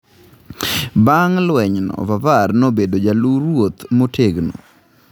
Bang’ lwenyno, Vavar nobedo jaluwo ruoth motegno.